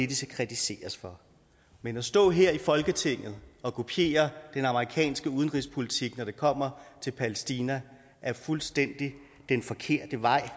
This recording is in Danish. de skal kritiseres for men at stå her i folketinget og kopiere den amerikanske udenrigspolitik når det kommer til palæstina er den fuldstændig forkerte vej